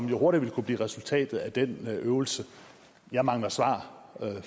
jo hurtigt vil kunne blive resultatet af den øvelse jeg mangler svar